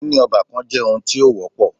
Níní ọ́bàkan jẹ́ oun tí o wọ́pọ̀.